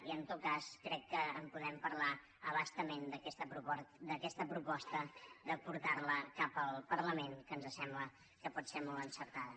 i en tot cas crec que en podrem parlar a bastament d’aquesta proposta de portar la cap al parlament que ens sembla que pot ser molt encertada